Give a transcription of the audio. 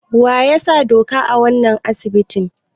Waya sa doka a wanan asibiti?